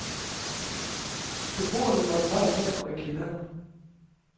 Beboerne måtte nøjes med at gå i kælderen.